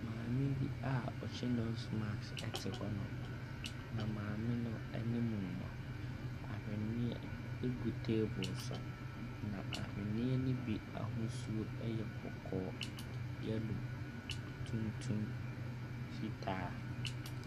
Maame bi a ɔhyɛ nos maks ɛte hɔ nom. Na maame no anim no, ahweneɛ ɛgu teebol. Na ahweneɛ ne bi ahosuo yɛ kɔkɔɔ, yɛlo, tuntum, fitaa.